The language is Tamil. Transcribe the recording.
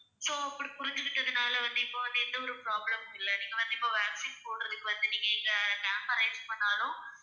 so அப்படி புரிஞ்சுக்கிட்டதுனால வந்து இப்ப வந்து எந்த ஒரு problem மும் இல்லை. நீங்க வந்து இப்ப vaccine போடுறதுக்கு வந்து நீங்க இந்த camp அ arrange பண்ணாலும்